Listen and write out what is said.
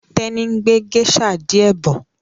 Teni ngbé geisha diẹ bó